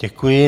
Děkuji.